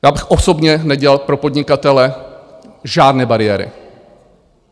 Já bych osobně nedělal pro podnikatele žádné bariéry.